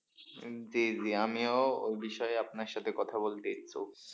জি জি আমিও ওই বিষয়ে আপনার সাথে কথা বলতে ইচ্ছুক।